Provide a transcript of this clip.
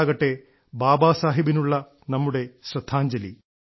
അതാകട്ടെ ബാബാ സാഹബിനുള്ള നമ്മുടെ ശ്രദ്ധാഞ്ജലി